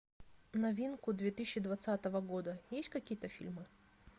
новинку две тысячи двадцатого года есть какие то фильмы